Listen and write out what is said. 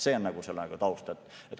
See on nagu selle taust.